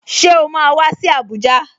Ṣé o máa wá sí Abuja?